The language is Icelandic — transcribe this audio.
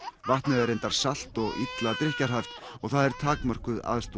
vatnið er reyndar salt og illa drykkjarhæft og það er takmörkuð aðstoð